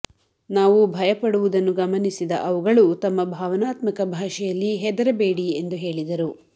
ನಾವು ಭಯಪಡುವುದ ಗಮನಿಸಿದ ಅವುಗಳು ತಮ್ಮ ಭಾವನಾತ್ಮಕ ಭಾಷೆಯಲ್ಲಿ ಹೆದರಬೇಡಿ ಎಂದು ಹೇಳಿದರು